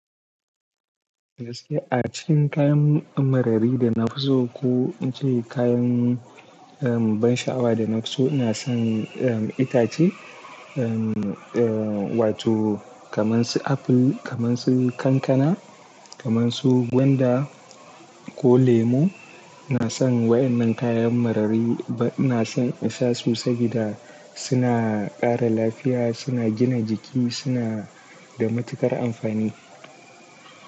Gaskiya a cikin kayan, um, marari da na fi so ko in ce kayan, um, ban sha'awa da na fi so ina son, um, itace. Um, eh, wato kaman su aful, kaman su kankana, kaman su gwanda ko lemu. Ina son wa'yannan kayan marari ba-- ina son isa su sabida suna ƙara lafiya, suna gina jiki, suna da matuƙar amfani.